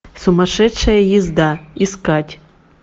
сумасшедшая езда искать